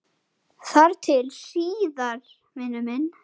Þar til síðar, vinur minn.